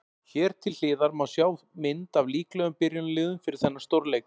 Hér til hliðar má sjá mynd af líklegum byrjunarliðum fyrir þennan stórleik.